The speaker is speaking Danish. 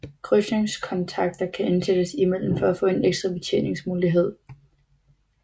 Krydsningskontakter kan indsættes imellem for at få en ekstra betjeningsmulighed